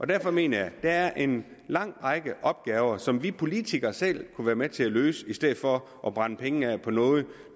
derfor mener jeg at der er en lang række opgaver som vi politikere selv kunne være med til at løse i stedet for at brænde pengene af på noget